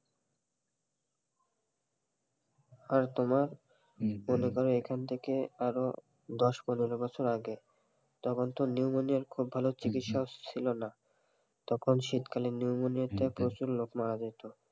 আর তোমার মনে করেন এখন থেকে আরো দশ পনেরো বছর আগে তখন তো নিউমোনিয়া খুব ভালো চিকিৎসাও ছিলো না তখন শীত কালে নিউমোনিয়াতে প্রচুর লোক মারা যেত,